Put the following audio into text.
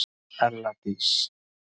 ELLA DÍS